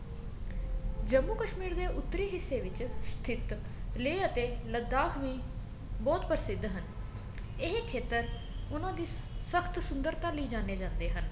ਜੰਮੂ ਕਸ਼ਮੀਰ ਦੇ ਉੱਤਰੀ ਹਿਸੇ ਵਿੱਚ ਸਥਿਤ ਲੇਹ ਅਤੇ ਲਾਦਾਖ ਵੀ ਬਹੁਤ ਪ੍ਰਸਿਧ ਇਹ ਖੇਤਰ ਸਖਤ ਸੁੰਦਰਤਾ ਲਈ ਜਾਣੇ ਜਾਂਦੇ ਹਨ